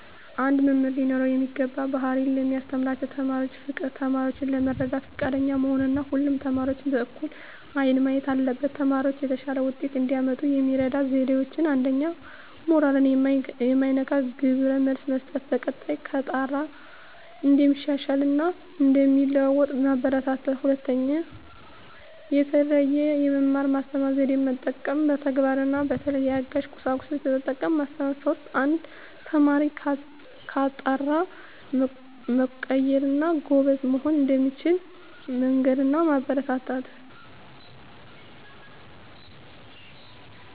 አንድ መምህር ሊኖረው የሚገባው ባህሪ ለሚያስተምራቸው ተማሪዎች ፍቅር፣ ተማሪዎችን ለመርዳት ፈቃደኛ መሆን እና ሁሉንም ተማሪዎች በእኩል አይን ማየት አለበት። ተማሪዎች የተሻለ ውጤት እንዲያመጡ የሚረዱ ዜዴዎች 1ኛ. ሞራል ማይነካ ግብረ መልስ መስጠት፣ በቀጣይ ከጣረ እንደሚሻሻል እና እንደሚለዎጡ ማበራታታት። 2ኛ. የተለየ የመማር ማስተማር ዜዴን መጠቀም፣ በተግባር እና በተለያዩ አጋዥ ቁሳቁሶችን በመጠቀም ማስተማር። 3ኛ. አንድ ተማሪ ከጣረ መቀየር እና ጎበዝ መሆን እንደሚችል መንገር እና ማበረታታት።